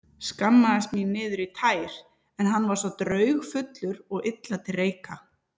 Skammaðist mín niður í tær, hann var svo draugfullur og illa til reika.